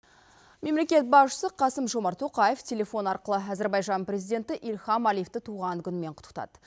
мемлекет басшысы қасым жомарт тоқаев телефон арқылы әзербайжан президенті илхам алиевті туған күнімен құттықтады